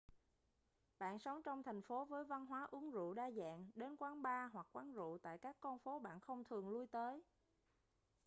bạn sống trong thành phố với văn hóa uống rượu đa dạng đến quán bar hoặc quán rượu tại các con phố bạn không thường lui tới